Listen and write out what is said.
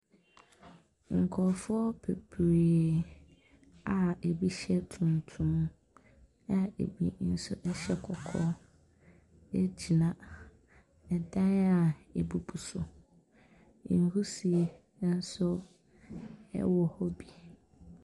Nkurɔfoɔ bebree a bi hyɛ tuntum a bi nso hyɛ kɔkɔɔ gyina dan a abubu so, nwusie nso wɔ hɔ bi.